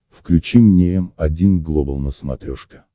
включи мне м один глобал на смотрешке